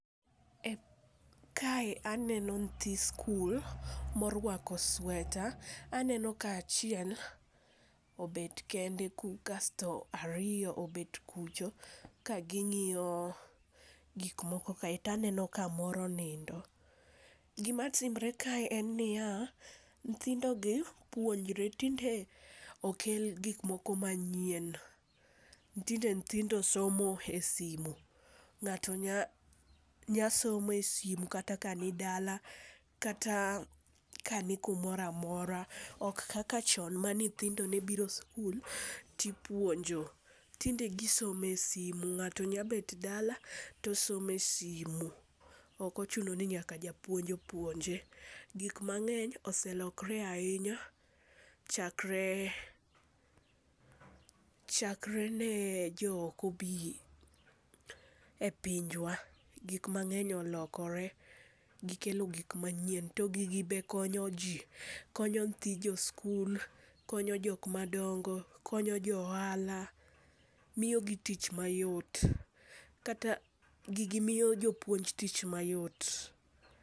Kae aneno nyithi skul ma oruako sweta, aneno ka achiel obet kende kasto ariyo obet kucho ka ging'iyo gik moko kae to aneno ka moro nindo, gimatimore kae en niya nyithindogi puonjre tinde okel gik moko manyien, tinde nyithindo somo e sime, ng'ato nyalo somo e sime kata ka nidala, kata ka ni kumoro amora ok kaka chon mane nyithindo ne biro sikul tipuonjo, tinde gisomo e sime ng'ato nyalo bet dala tosomo e simu, okochuno ni nyaka japuonj opuonje, gik mangeny oselokre ahinya chakre, chakre ne jo oko bi e pinjwa gik mangeny olokore gikelo gik manyien to gigi be konyo ji konyo nyithi joskul konyo jok madongo konyo jo ohala, miyogi tich mayot kata gigi miyo jopuonj tich mayot.